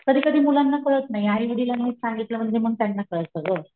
कधी कधी मुलांना कळत नाही आई वडिलांनी सांगितलं मग मी त्यांना कळत सगळ,